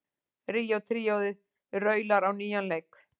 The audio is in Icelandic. Ríó tríóið raular á nýjan leik